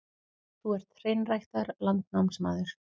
Þú ert hreinræktaður landnámsmaður.